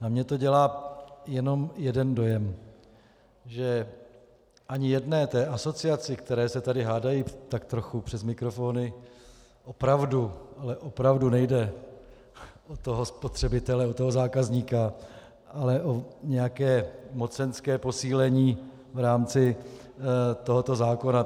Na mě to dělá jenom jeden dojem, že ani jedné té asociaci, které se tady hádají tak trochu přes mikrofony, opravdu, ale opravdu nejde o toho spotřebitele, o toho zákazníka, ale o nějaké mocenské posílení v rámci tohoto zákona.